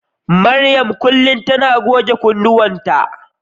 Mariam kullum tana goge kunnuwanta.